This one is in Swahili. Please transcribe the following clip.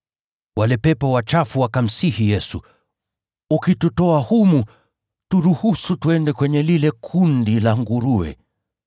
Wale pepo wachafu wakamsihi Yesu, “Ukitutoa humu, turuhusu twende kwenye lile kundi la nguruwe.”